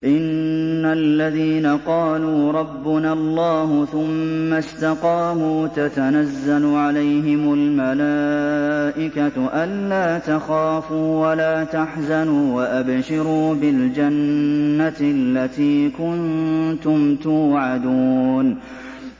إِنَّ الَّذِينَ قَالُوا رَبُّنَا اللَّهُ ثُمَّ اسْتَقَامُوا تَتَنَزَّلُ عَلَيْهِمُ الْمَلَائِكَةُ أَلَّا تَخَافُوا وَلَا تَحْزَنُوا وَأَبْشِرُوا بِالْجَنَّةِ الَّتِي كُنتُمْ تُوعَدُونَ